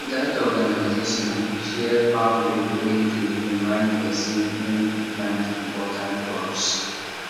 that organization share farm book wey dey remind pesin when to plant important crops